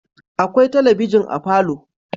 Akwai talabijin a falo